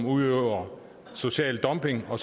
udøver social dumping og